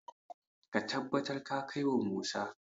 ka tabbar ka kai wa Musa!